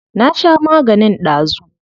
Na sha maganin dazu.